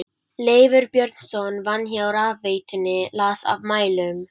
Leifur Björnsson vann hjá rafveitunni, las af mælum.